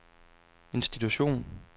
institution